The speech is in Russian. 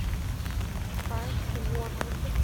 спайс уорлд